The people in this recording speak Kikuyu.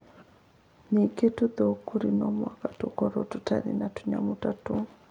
Ningĩ tũthũngũri no mũhaka tũkorũo tũtarĩ na tũnyamũ ta tũu.